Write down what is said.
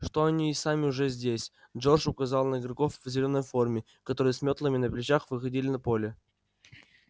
что они и сами уже здесь джордж указал на игроков в зелёной форме которые с мётлами на плечах выходили на поле